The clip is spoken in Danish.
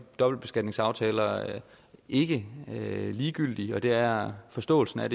dobbeltbeskatningsaftaler ikke ligegyldige og det er forståelsen af